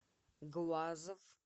глазов